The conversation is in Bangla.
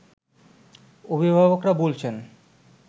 অভিভাবকরা বলছেন